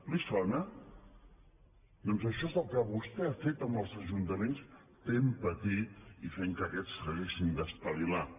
li sona doncs això és el que vostè ha fet amb els ajuntaments fent patir i fent que aquests s’haguessin d’espavilar